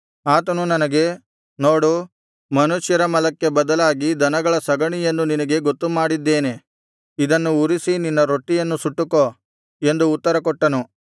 ಆತನು ನನಗೆ ನೋಡು ಮನುಷ್ಯರ ಮಲಕ್ಕೆ ಬದಲಾಗಿ ದನಗಳ ಸಗಣಿಯನ್ನು ನಿನಗೆ ಗೊತ್ತುಮಾಡಿದ್ದೇನೆ ಇದನ್ನು ಉರಿಸಿ ನಿನ್ನ ರೊಟ್ಟಿಯನ್ನು ಸುಟ್ಟುಕೋ ಎಂದು ಉತ್ತರಕೊಟ್ಟನು